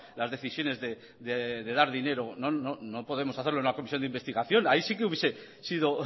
las decisiones de dar dinero no podemos hacer una comisión de investigación ahí sí que hubiese sido